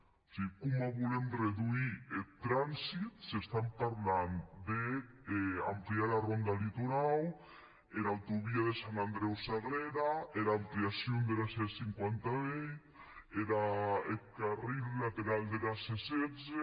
o sigue coma volem reduir eth transit s’estam parlant d’ampliar era ronda litorau era autovia de sant andreu sagrega era ampliacion dera c cinquanta vuit eth carril laterau dera c setze